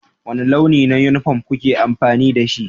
Wani launi na yunifom kuke amfani da shi?